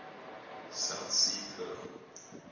south sea pearl